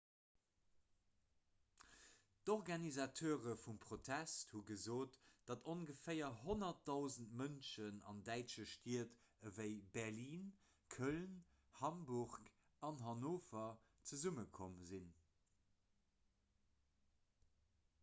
d'organisateure vum protest hu gesot datt ongeféier 100 000 mënschen an däitsche stied ewéi berlin köln hamburg an hannover zesummekomm sinn